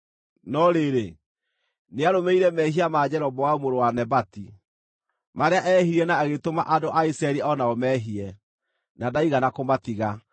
No rĩrĩ, nĩarũmĩrĩire mehia ma Jeroboamu mũrũ wa Nebati, marĩa eehirie na agĩtũma andũ a Isiraeli o nao meehie, na ndaigana kũmatiga.